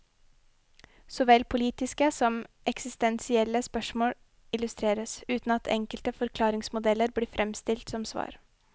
Såvel politiske som eksistensielle spørsmål illustreres, uten at enkle forklaringsmodeller blir fremstilt som svar.